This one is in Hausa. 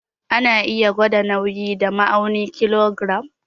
Ana iya gwada nauyi da ma'aunin kilogiram.